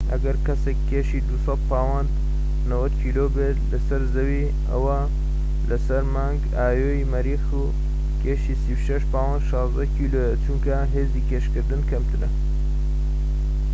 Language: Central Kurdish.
ئەگەر کەسێك كێشی ٢٠٠ پاوەند ٩٠ کیلۆ بێت لەسەر زەوی، ئەوا لەسەر مانگی ئایۆ ی مەریخ کێشی ٣٦ پاوەند ١٦ کیلۆیە. چونکە هێزی ڕاکێشان کەمترە